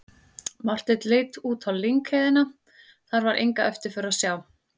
Marteinn leit út á lyngheiðina, þar var enga eftirför að sjá.